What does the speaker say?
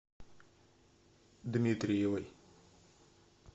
дмитриевой